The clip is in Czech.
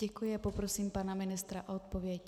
Děkuji a poprosím pana ministra o odpověď.